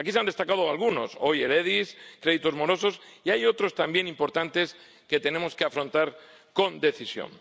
Aquí se han destacado algunos, el SEGD, créditos morosos y otros también importantes que tenemos que afrontar con decisión.